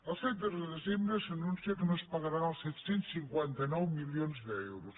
el tretze de desembre s’anuncia que no es pagaran els set cents i cinquanta nou milions d’euros